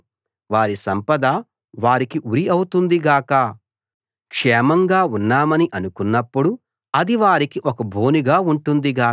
వారి సంపద వారికి ఉరి అవుతుంది గాక క్షేమంగా ఉన్నామని అనుకున్నప్పుడు అది వారికి ఒక బోనుగా ఉంటుంది గాక